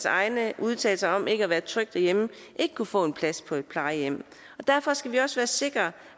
egne udtalelser om ikke at være tryg derhjemme ikke kunne få en plads på et plejehjem derfor skal vi også have sikret